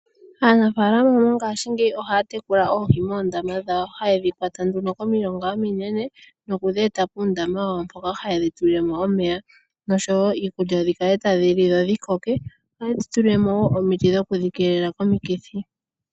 Aanafaalama mongashingeyi ohaya tekula oohi moondama dhawo haye dhi kwata nduno komilonga ominene nokudheeta puundama wawo mpoka haye dhi tulile mo omeya noshowo iikulya, dhi kale tadhi li , dho dhi koke. Ohaye dhi tulile mo wo omiti dhoku dhi keelela komikithi.